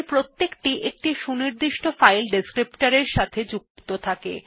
প্রতিটি একটি সুনির্দিষ্ট ফাইল descriptor এর সাথে যুক্ত থাকে